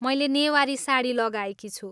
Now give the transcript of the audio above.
मैले नौवारी साडी लगाएकी छु।